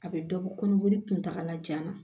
A bɛ dɔ bɔ kɔnɔboli kuntakala jan na